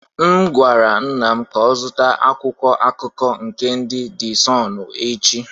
M gwara nna m ka ọ zụta akwụkwọ akụkọ nke ndị de Sunụ echi.